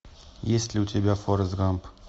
есть ли у тебя форест гамп